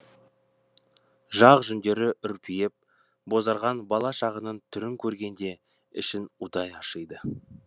жақ жүндері үрпиіп бозарған бала шағаның түрін көргенде ішің удай ашиды